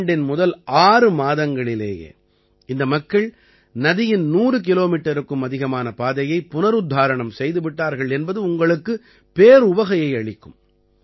ஆண்டின் முதல் 6 மாதங்களிலேயே இந்த மக்கள் நதியின் 100 கிலோமீட்டருக்கும் அதிகமான பாதையை புனருத்தாரணம் செய்து விட்டார்கள் என்பது உங்களுக்குப் பேருவகையை அளிக்கும்